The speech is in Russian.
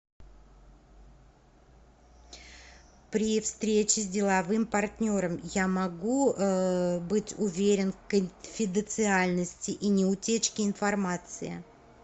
при встрече с деловым партнером я могу быть уверен в конфиденциальности и неутечке информации